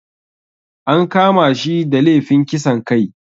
An kama shi da lefin kisan kai